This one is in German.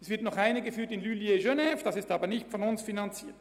Es wird noch eine in Lullier, Genf, geführt.